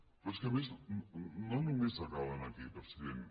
però és que a més no només acaben aquí president